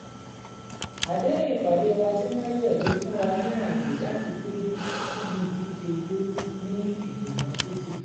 àdéhùn-ìpàdé wa tí wọ́n yẹ̀ ló fún wa ní ààyè láti péjú síbi ìdíje ijó ní ìfònà títí